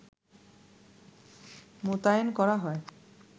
মোতায়েন করা হয়